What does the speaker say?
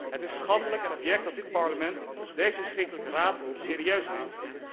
Het is schandelijk en abject dat dit Parlement deze verschrikkelijke raad serieus neemt.